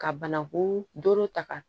Ka banaku doro ta ka